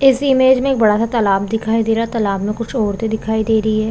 इस इमेज में एक बड़ा सा तालाब दिखाई दे रहा है तालाब में कुछ औरते दिखाई दे रही है।